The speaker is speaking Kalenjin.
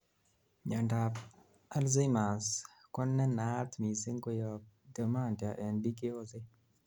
miandap Alzheimer's ko nenaat missing koyob dementia en biik cheyosen